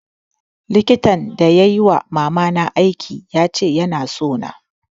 Likitan da yai wa mama na aiki ya ce ya na so na